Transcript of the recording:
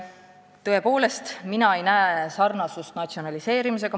" Tõepoolest, mina ei näe sarnasust natsionaliseerimisega.